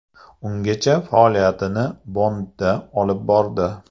Ungacha faoliyatini Bonnda olib bordi.